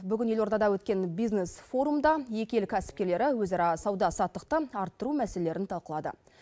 бүгін елордада өткен бизнес форумда екі ел кәсіпкерлері өзара сауда саттықты арттыру мәселелерін талқылады